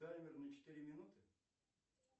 таймер на четыре минуты